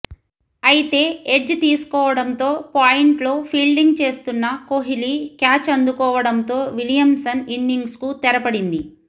అయితే ఎడ్జ్ తీసుకోవడంతో పాయింట్లో ఫీల్డింగ్ చేస్తున్న కోహ్లి క్యాచ్ అందుకోవడంతో విలియమ్సన్ ఇన్నింగ్స్కు తెరపడింది